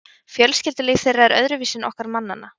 fjölskyldulíf þeirra er öðruvísi en okkar mannanna